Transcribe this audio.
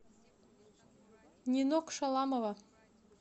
нинок шаламова